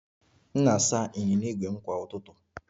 M na-asa ịnyịnya ígwè m kwa ụtụtụ